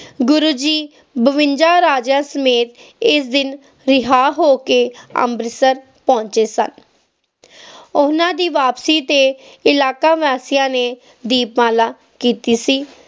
ਗੁਰੂ ਜੀ ਬਿਵੰਜਾ ਰਾਜਿਆਂ ਸਮੇਤ ਇਸ ਦਿਨ ਰਿਹਾਹ ਹੋ ਕੇ ਅੰਮ੍ਰਿਤਸਰ ਪਹੁੰਚੇ ਸਨ ਓਹਨਾ ਦੀ ਵਾਪਸੀ ਤੇ ਇਲੈਕਵਾਸੀਆਂ ਨੇ ਦੀਪਮਾਲਾ ਕੀਤੀ ਸੀ